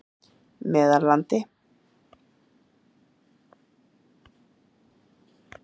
Meðallandi